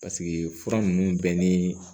Paseke fura ninnu bɛɛ ni